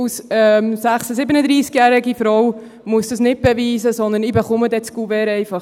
– Als 36-/37-Jährige Frau muss ich dies nicht beweisen, sondern erhalte das Kuvert einfach.